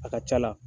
A ka ca la